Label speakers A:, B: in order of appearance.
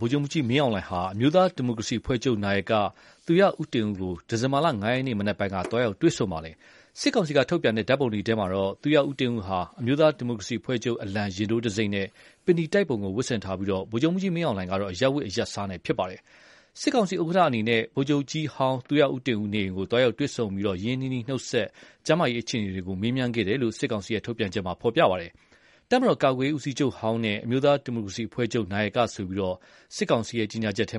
A: ဗိုလ်ချုပ်မှူးကြီးမင်းအောင်လှိုင်ဟာ အမျိုးသားဒီမိုကရေစီအဖွဲ့ချုပ် နာယက သူရဦးတင်ဦးကို ဒီဇင်ဘာလ ၅ ရက်နေ့ မနက်ပိုင်းက သွားရောက်တွေ့ဆုံပါတယ်။ စစ်ကောင်စီက ထုတ်ပြန်တဲ့ ဓာတ်ပုံတွေထဲမှာတော့ သူရဦးတင်ဦးဟာ အမျိုးသားဒီမိုကရေစီအဖွဲ့ချုပ် အလံ ရင်ထိုးတံဆိပ်နဲ့ ပင်နီတိုက်ပုံကို ဝတ်ဆင်ထားပြီး ဗိုလ်ချုပ်မှူးကြီးမင်းအောင်လှိုင်ကတော့ အရပ်ဝတ်အရပ်စားနဲ့ ဖြစ်ပါတယ်။ စစ်ကောင်စီဥက္ကဋ္ဌ အနေနဲ့ ဗိုလ်ချုပ်ကြီးဟောင်း သူရဦးတင်ဦး နေအိမ်ကို သွားရောက်တွေ့ဆုံ ရင်းရင်းနှီးနှီး နှုတ်ဆက်ပြီး ကျန်းမာရေး အခြေအနေတွေကို မေးမြန်းခဲ့တယ်လို့ စစ်ကောင်စီ ထုတ်ပြန်ချက်မှာ ဖော်ပြပါတယ်။ သူရဦးတင်ဦးကို တပ်မတော် ကာကွယ်ရေးဦးစီးချုပ်ဟောင်းနဲ့ အမျိုးသားဒီမိုကရေစီအဖွဲ့ချုပ် နာယကဆိုပြီး စစ်ကောင်စီ ကြေညာချက်ထဲ